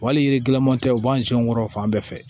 Wali yiriman tɛ u b'an sɛn kɔrɔ fan bɛɛ fɛ